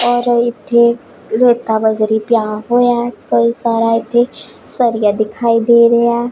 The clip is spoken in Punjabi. ਔਰ ਇੱਥੇ ਰੇਤਾ ਬਜਰੀ ਪਿਆ ਹੋਇਆ ਹੈ ਕਈ ਸਾਰਾ ਇੱਥੇ ਸਰੀਆ ਦਿਖਾਈ ਦੇ ਰਿਹਾ ਹੈ।